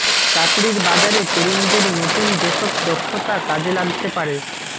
চাকরির বাজারে তরুণদের নতুন যেসব দক্ষতা কাজে লাগতে পারে